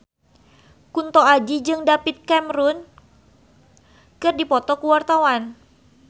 Kunto Aji jeung David Cameron keur dipoto ku wartawan